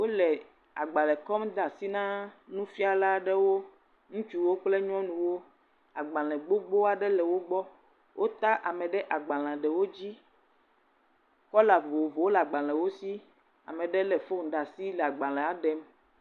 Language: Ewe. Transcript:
Wole agbalẽ kɔm de asi ná nufiala aɖewo. Ŋutsuwo kple nyɔnuwo. Agbalẽ gbogbo aɖe le wògbɔ. Wo ta ame ɖe agbalẽa wòdzi, kola vovovowo le agbalẽa wò si. Ame aɖe le fone ɖe asi le agbalẽa ɖem.